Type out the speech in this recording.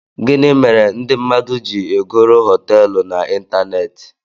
Gini mere ndi mmadu ji egoro hotéélu na ịntanetị?